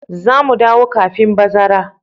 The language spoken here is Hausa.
Za mu dawo kafin bazara.